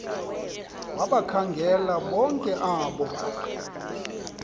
wabakhangela bonke abo